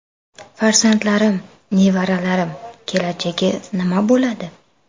Farzandlarim, nevaralarim kelajagi nima bo‘ladi?